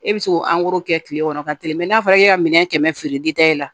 E bɛ se k'o kɛ kile kɔnɔ ka tɛmɛ mɛ n'a fɔra e ka minɛn kɛmɛ feere e la